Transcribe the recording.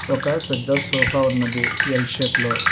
ఒక పెద్ద సోఫా ఉన్నది ఎల్ షేప్ లో.